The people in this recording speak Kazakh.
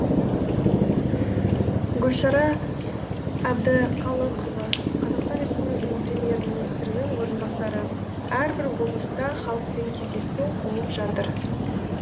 гүлшара әбдіқалықова қазақстан республиканың премьер министрінің орынбасары әрбір облыста халықпен кездесу болып жатыр